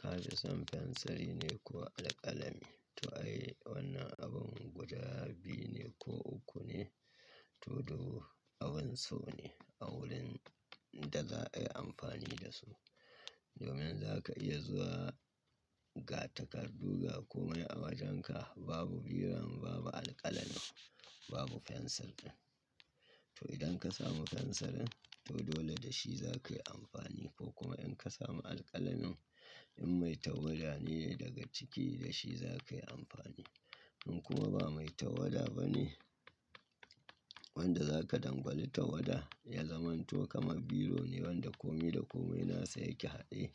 Ka fi son fensiri ne ko alƙalami? To ai wannan abun guda biyu ne ko uku ne, to duk abun so ne a wurin da za a yi amfani da su. Domin za ka iya zuwa ga takardu ga kome a wajenka babu biram, babu alƙalami, babu fensirin. To idan ka samu fensirin to dole da shi za ka yi amfani ko kuma in ka samu alƙalamin in mai tawada ne daga ciki da shi za ka yi amfani. In kuma ba mai tawada ba ne wanda za ka dangali tawada ya zamanto kamar biro ne wanda kome da komai nasa yake haɗe.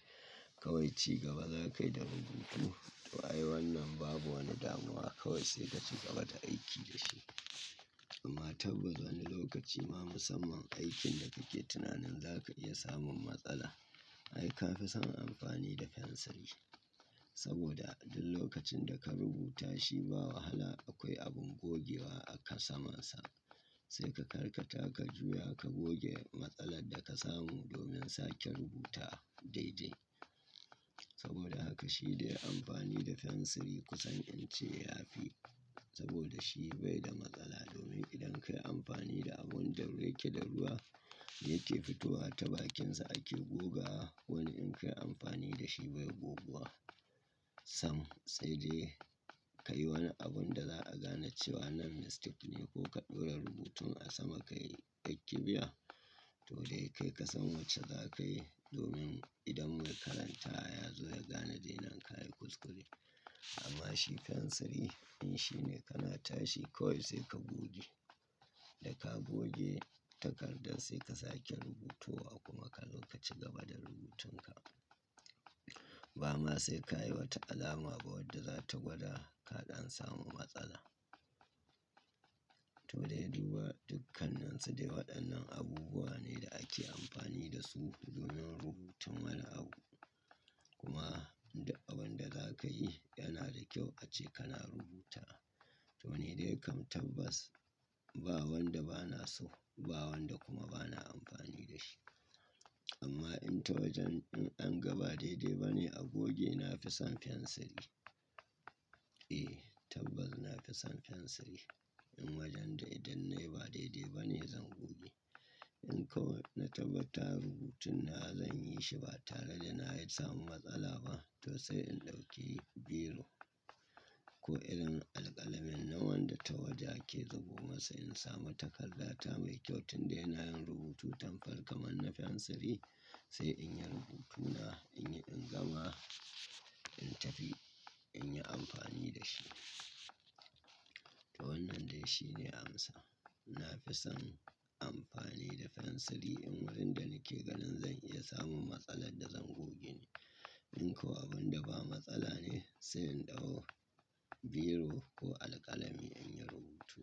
Kawai ci gaba za ka yi da rubutu. To ai wannan babu wani damuwa kawai sai ka ci gaba da aiki da shi. Amma tabbani lokaci ma musamman aikin da kake tunanin za ka iya samun matsala. Ai ka fi son amfani da fensiri. Saboda duk lokacin da ka rubuta shi ba wahala akwai abin gogewa aka samansa. Sai ka karka taka juya ka goge matsalar da ka samu domin sake rubuta daidai. Saboda haka shi dai amfani da fensiri kusan in ce ya fi. Saboda shi bai da matsala domin idan ka yi amfani da abun da yake da ruwa yake fitowa ta bakinsa ake gogawa. Wani in ka yi amfani da shi bai goguwa. Sam, sai dai ka yi wani abun da za a gane cewa nan nastik ne ko ka ɗora rubutun a sama ka yi aiki biya. To dai kai ka san wacce za ka yi domin idan mai karanta ya zo ya gane dai nan ka yi kuskure. Amma shi fensiri in shi ne kana tashi kawai sai ka goge. Da ka goge takardar sai ka sake rubutowa kuma ka lokaci gaba da rubutunka. Ba ma sai ka yi wata alama ba wadda za ta gwada kaɗan samu matsala. To dai duba dukkanansu dai waɗannan abubuwa ne da ake amfani da su domin rubutun wani abu. Kuma abun da za ka yi yana da kyau ace kana rubuta. To ni dai kam tabbas ba wanda ba na so ba wanda kuma ba na amfani da shi. Amma in ta wajen in an ga ba daidai ba ne a goge na fi son fensiri. Eh, tabbas na fi son fensiri. In wajen da idan na yi ba daidai ba ne zan goge. In kawai na tabbata rubutuna zan yi shi ba tare da na yi samun matsala ba to sai in ɗauki biro. Ko irin alƙalamin na wanda ta waje ake rubuta masa in samu takarda ta mai kyau tunda ina yin rubutu tan farko manna fensiri sai in yi rubutuna in yi in gama in tafi in yi amfani da shi. To wannan dai shi ne amsa. Na fi son amfani da fensiri in wurin da nake ganin zan iya samun matsalar da zan goge ne. In ko abun da ba matsala ne sai in ɗauko biro ko alƙalami in yi rubutu.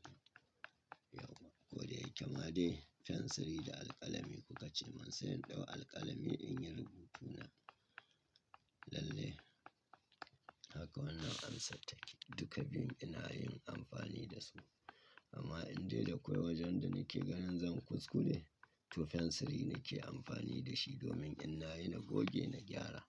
Yau kuwa. Ko dai kamade fensiri da alƙalami kuka ce man sai in ɗau alƙalami in yi rubutuna. Lalle haka wannan amsa take. Duka biyun ina yin amfani da su. Amma in dai da kawai wajen da nake ganin zan kuskure to fensiri nake amfani da shi domin in na yi na goge na gyara.